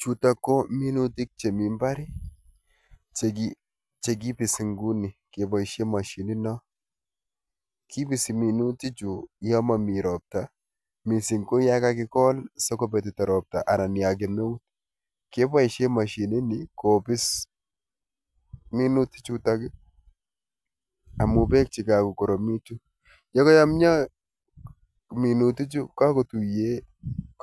Chutok ko minutik chemi mbar i, chekipisi nguni kepoishe mashinino. Kipisi minutichu yomami ropta mising ko yakakikol sikopetito ropta anan ya kemeut kepoishe mashinini kopis minutichutok amu beek chekakokoromitu. Yokayomyo minutichu kakotuiye